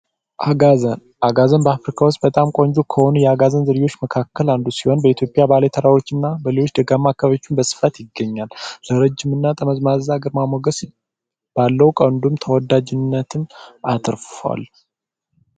አጋዘን፦ አጋዘን በአፍሪካ ውስጥ በጣም ቆንጆ ልዩ ከሆኑ የዝርያዎች መካከል አንዱ ሲሆን በኢትዮጵያ ባሉ ተራራዎችና በተለያዩ ደጋማ ስፍራዎች በብዛት ይገኛል። ረጅምና ጠመዝማዛና ግርማ ሞገስ ባለው ቀንዱ ተወዳጅነትን አትርፉዋል።